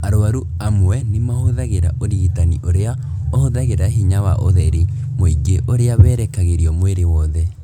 Arwaru amwe nĩ mahũthagĩra ũrigitani ũrĩa ũhũthagĩra hinya wa ũtheri mũingĩ ũrĩa werekagĩrio mwĩrĩ wothe.